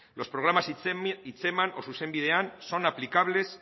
los programas hitzeman o zuzen bidean son aplicables